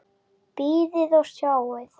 Bíðið og sjáið!